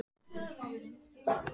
Hversu vel heyra kettir?